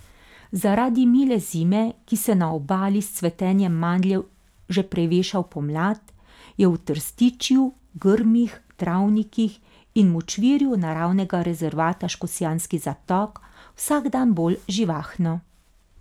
Zaradi mile zime, ki se na Obali s cvetenjem mandljev že preveša v pomlad, je v trstičju, grmih, travnikih in močvirju Naravnega rezervata Škocjanski zatok vsak dan bolj živahno.